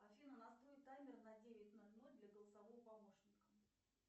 афина настрой таймер на девять ноль ноль для голосового помощника